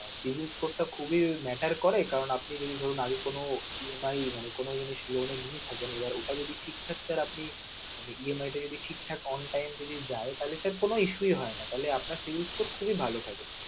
savings score টা খুবই matter করে কারণ আপনি যদি ধরুন আগে কোনো EMI মানে কোনো জিনিস loan এ নিয়ে থাকেন ওটা যদি ঠিকঠাক sir আপনি EMI টা যদি ঠিকঠিক on time যদি যায় তাহলে sir কোনো issue হয় না তাহলে আপনার savings score খুবই ভালো থাকে.